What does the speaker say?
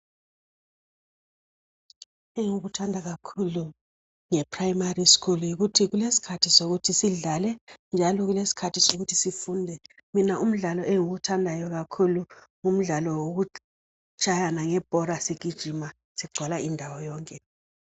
Engikuthanda kakhulu ngeprimary school yikuthi kulesikhathi sokuthi sidlale ngajo kulesikhathi sokuthi sifunde mina undlalo engiwuthandayo kakhulu yindlalo yokutshayana ngebhora sigijima sigcwala indawo yonke.